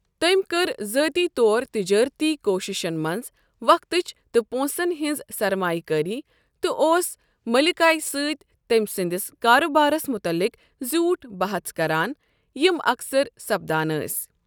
تٔمۍ كٕر ذٲتی طور تِجٲرتی کوٗشِشن منٛز وقٕتچ تہٕ پونٛسن ہنز سرمایہٕ كٲری تہٕ اوس ملكایہٕ سۭتۍ تٔمۍ سٕنٛدِس کارٕ بارس مُتعلِق زیوٹھ بَحژ کَران یِم اکثر سپدان ٲسۍ۔